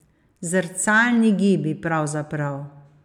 Zrcalni gibi, pravzaprav.